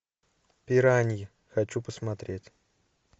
пираньи хочу посмотреть